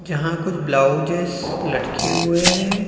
जहां कुछ ब्लाउजेस् लटके हुए हैं।